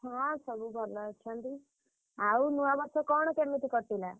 ହଁ ସବୁ ଭଲ ଅଛନ୍ତି। ଆଉ ନୂଆବର୍ଷ କଣ କେମିତି କଟିଲା?